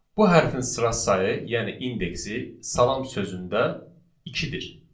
Bu hərfin sıra sayı, yəni indeksi, salam sözündə ikidir.